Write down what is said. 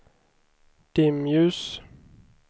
dimljus